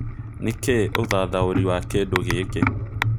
nĩ kĩ ũthathaũrĩ wa kĩndũ gĩkĩ